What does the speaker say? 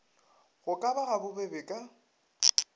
go ka ba gabobebe ka